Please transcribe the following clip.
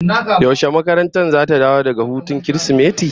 Yaushe makarantar zata dawo daga hutun Kirsimeti?